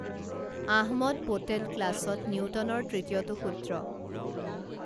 আহমদ পোটেল ক্লাছত নিউটনৰ তৃতীয়টো সূ্ত্ৰ